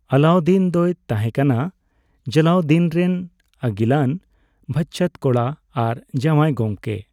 ᱟᱞᱟᱩᱫᱽᱫᱤᱱ ᱫᱚᱭ ᱛᱟᱦᱮᱸ ᱠᱟᱱᱟ ᱡᱟᱞᱟᱞᱩᱫᱽᱫᱤᱱ ᱨᱮᱱ ᱟᱹᱜᱤᱞᱟᱱ ᱵᱷᱟᱪᱪᱟᱹᱛ ᱠᱚᱲᱟ ᱟᱨ ᱡᱟᱣᱟᱭ ᱜᱚᱢᱠᱮ᱾